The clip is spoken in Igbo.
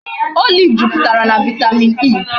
Olive juputara na vitamin E